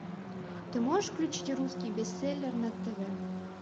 ты можешь включить русский бестселлер на тв